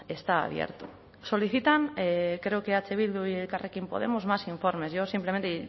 está abierto solicitan creo que eh bildu y elkarrekin podemos más informes yo simplemente